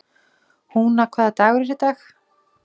Húna, hvaða dagur er í dag?